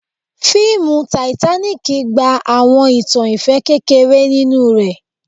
Fiimu Titanic gba awọn itan ifẹ kekere ninu rẹ